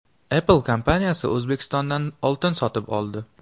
Apple kompaniyasi O‘zbekistondan oltin sotib oldi.